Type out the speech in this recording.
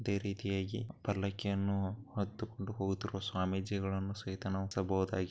ಇದೆ ರೀತಿಯಾಗಿ ಪಲ್ಲಕ್ಕಿಯನ್ನು ಹೊತ್ತುಕೊಂಡು ಹೋಗುತಿರುವ ಸ್ವಾಮೀಜಿಗಳನ್ನು ಸಹಿತಾ